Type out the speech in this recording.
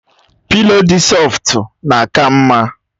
Pịlo dị sọftu na-aka mma